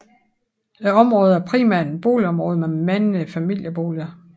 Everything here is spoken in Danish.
Området er primært et boligområde med mange familieboliger